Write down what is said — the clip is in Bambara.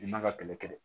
I man ka kɛlɛ kɛlɛ